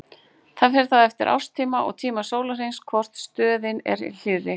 Það fer þá eftir árstíma og tíma sólarhrings hvor stöðin er hlýrri.